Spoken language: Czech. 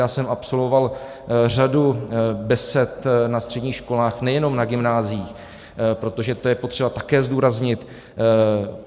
Já jsem absolvoval řadu besed na středních školách, nejenom na gymnáziích, protože to je potřeba také zdůraznit.